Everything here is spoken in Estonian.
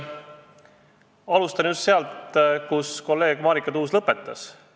Alustan just sealt, kus kolleeg Marika Tuus lõpetas.